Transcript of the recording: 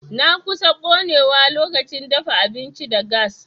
Na kusan konewa lokacin dafa abinci da gas.